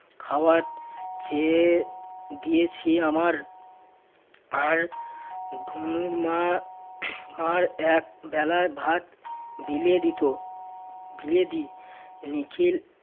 খাওয়ার চেয়ে দিয়েছি আমার আর ধুনুর মা আর এক বেলায় ভাত বিলিয়ে দিত। বিলিয়ে দিই, নিখিল